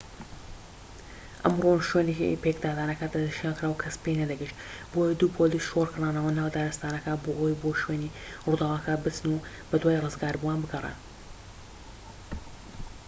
ئەمڕۆ شوێنی پێکدادانەکە دەسنیشانکرا و کەس پێی نەدەگەیشت بۆیە دوو پۆلیس شۆڕکرانەوە ناو دارستانەکە بۆ ئەوەی بۆ شوێنی ڕووداوەکە بچن و بەدوای ڕزگاربووان بگەڕێن